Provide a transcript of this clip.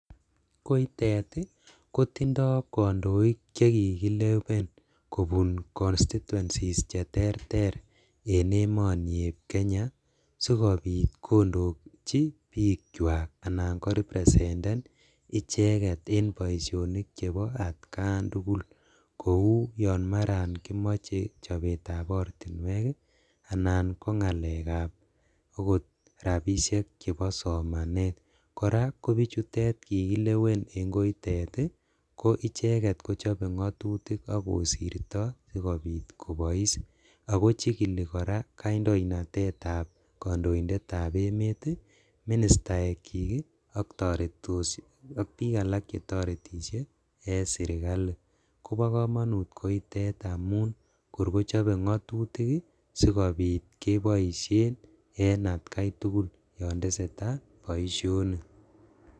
Koitet ii kotindo kondoik chekikilewen kobun constituencies cheterter en emoni eb Kenya sikobit kondoji bikwak anan korepresenden icheket en boisionik chebo atkan tugul kou yon maran kimoche chobetab ortinwek ii anan kongalekab rabishek chebo somanet, koraa kobuchutet kikilewen en koitet ii ko icheket kochobe ngatutik ak kosirto kobois, ako chikili koraa kandoinatetab kondoindetab emet ii, ministaekchik ii ak toretos ak bik alak chetoretishe en sirkali kobokomonut koitet amun kor kochobe ngatutik ii sikobit keboishen en atkaitugul yon tesetaa boisionik.